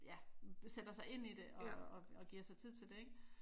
Ja sætter sig ind i det og giver sig tid til det ik